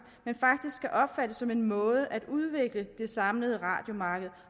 men faktisk skal opfattes som en måde at udvikle det samlede radiomarked